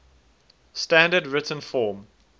standard written form